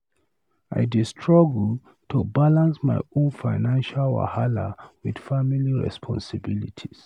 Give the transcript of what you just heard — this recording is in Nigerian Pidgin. I dey struggle to balance my own financial wahala with family responsibilities.